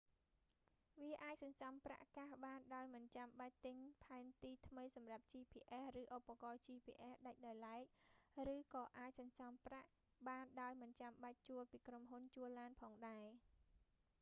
វាអាចសន្សំប្រាក់កាសបានដោយមិនចាំបាច់ទិញផែនទីថ្មីសម្រាប់ gps ឬឧបករណ៍ gps ដាច់ដោយឡែក ឬក៏អាចសន្សំប្រាក់បានដោយមិនចាំបាច់ជួលពីក្រុមហ៊ុនជួលឡានផងដែរ